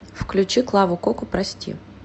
включи клаву коку прости